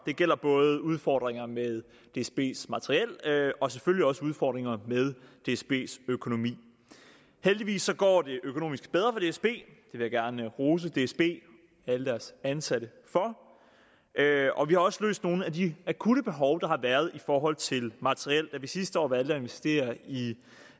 det gælder både udfordringer med dsbs materiel og selvfølgelig også udfordringer med dsbs økonomi heldigvis går det økonomisk bedre for dsb det vil jeg gerne rose dsb og alle deres ansatte for og vi har også løst nogle af de akutte behov der har været i forhold til materiellet da vi sidste år valgte at investere i